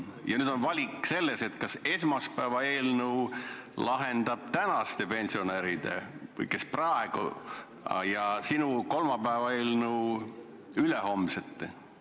Ja nüüd on valik selles, kas esmaspäevane eelnõu lahendab tänaste pensionäride mured või sinu kolmapäevane eelnõu ülehomsete mured.